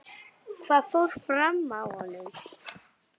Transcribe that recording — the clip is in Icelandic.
Hvað fór fram á honum?